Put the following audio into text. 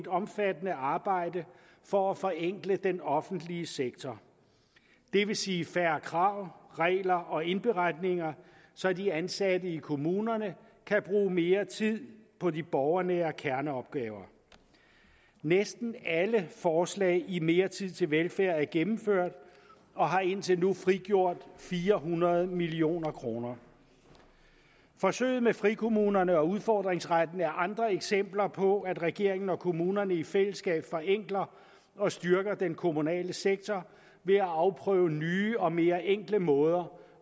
omfattende arbejde for at forenkle den offentlige sektor det vil sige færre krav regler og indberetninger så de ansatte i kommunerne kan bruge mere tid på de borgernære kerneopgaver næsten alle forslag i mere tid til velfærd er gennemført og har indtil nu frigjort fire hundrede million kroner forsøget med frikommunerne og udfordringsretten er andre eksempler på at regeringen og kommunerne i fællesskab forenkler og styrker den kommunale sektor ved at afprøve nye og mere enkle måder